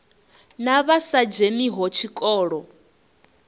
na vha sa dzheniho tshikolo